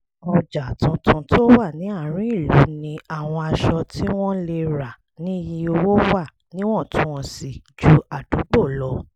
ọjà tuntun tó wà ní àárín ìlú ní àwọn aṣọ tí wọ́n lè rà ní iye owó wà níwọ̀ntúnwọ̀nsì ju àdúgbò lọ